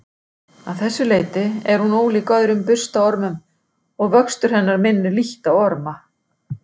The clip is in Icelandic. Að þessu leyti er hún ólík öðrum burstaormum og vöxtur hennar minnir lítt á orma.